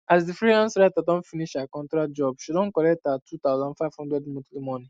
as the freelance writer don finish her contract jobshe don collect her two thousand five hundred monthly money